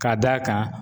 Ka d'a kan